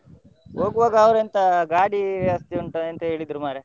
ಹೋಗುವಾಗ ಅವರೇಂತ, ಗಾಡಿ ವ್ಯವಸ್ಥೆ ಉಂಟಾ ಎಂತ ಹೇಳಿದ್ರು ಮಾರ್ರೆ.